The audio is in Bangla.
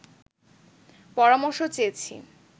পরামর্শ চেয়েছি